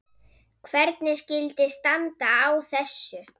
Hvernig skyldi standa á þessu?